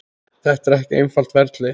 Þetta er ekki einfalt ferli.